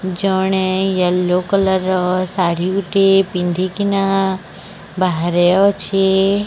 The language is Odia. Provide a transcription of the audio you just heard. ଜଣେ ଏଲୋ କଲର ଶାଢ଼ୀ ଗୋଟିଏ ପିନ୍ଧିକିନା ବାହାରେ ଅଛେ।